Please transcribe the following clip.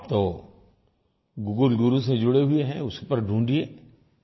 आप तो गूगल गुरु से जुड़े हुए हैं उस पर ढूँढिए